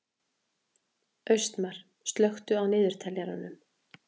Austmar, slökktu á niðurteljaranum.